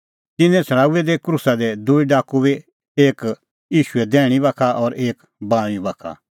तिन्नैं छ़ड़ाऊऐ क्रूसा दी दूई डाकू बी एक ईशूए दैहणीं बाखा और एक बाऊंईं बाखा